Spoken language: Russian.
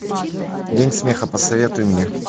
день смеха посоветуй мне